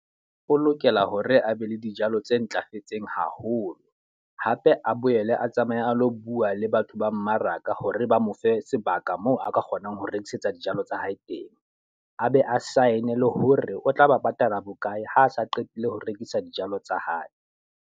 O lokela hore a be le dijalo tse ntlafetseng haholo. Hape a boele a tsamaye a lo bua le batho ba mmaraka hore ba mo fe sebaka moo a ka kgonang ho rekisetsa dijalo tsa hae teng. A be a sign-e le hore o tla ba patala bokae ha a sa qetile ho rekisa dijalo tsa hae.